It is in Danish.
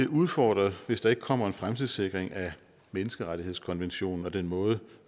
udfordret hvis ikke der kommer en fremtidssikring af menneskerettighedskonventionen og den måde